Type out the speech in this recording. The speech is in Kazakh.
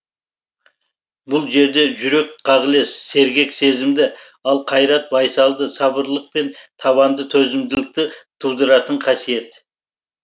бұл жерде жүрек қағілез сергек сезімді ал қайрат байсалды сабырлылық пен табанды төзімділікті тудыратын қасиет